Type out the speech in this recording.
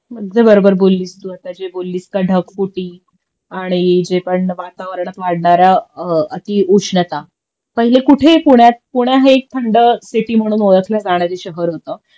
अगदी बरोबर बोललीस तू आता जे बोललीस का ढगफुटी आणि जे पण वातावरणात वाढणारा अतिउष्णता. पहिले कुठे पुण्यात पुणे हे थंड सिटी म्हणून ओळखलं जाणार शहर होत